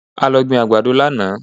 A lọ gbin àgbàdo lánàá